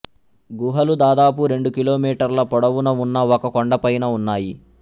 గుహలు దాదాపు రెండు కిలోమీటర్ల పొడవున ఉన్న ఒక కొండపైన ఉన్నాయి